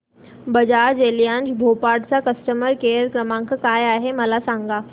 Bajaj Allianz Bhopal चा customer care क्रमांक काय आहे मला सांगा